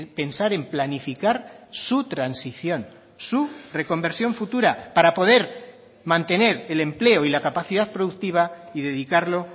pensar en planificar su transición su reconversión futura para poder mantener el empleo y la capacidad productiva y dedicarlo